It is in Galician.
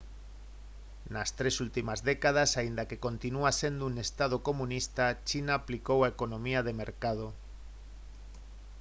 nas tres últimas décadas aínda que continúa sendo un estado comunista china aplicou a economía de mercado